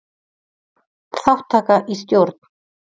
Þátttaka í stjórn.